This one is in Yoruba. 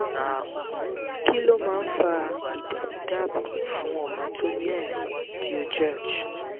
kí ló máa ń fa ìdààmúdaabo fun ọmọ tó ní ami àìsàn digeorge?